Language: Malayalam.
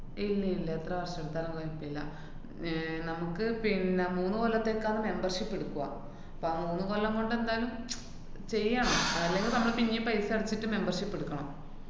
ഇല്ലില്ല, എത്ര വര്‍ഷെടുത്താലും കൊഴപ്പില്ല. ആഹ് നമ്ക്ക് പിന്നെ മൂന്നു കൊല്ലത്തേക്കാണ് membership എടുക്ക്വാ. ഇപ്പ ആ മൂന്ന് കൊല്ലം കൊണ്ടെന്തായാലും ചെയ്യാം. അല്ലെങ്കി നമ്മള് പിന്നേം paisa അടച്ചിട്ട് membership എടുക്കണം.